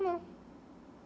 Não.